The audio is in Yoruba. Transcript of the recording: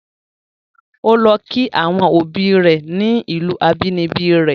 O lọ kí àwọn obi rẹ̀ ni ìlù abínibí rẹ̀.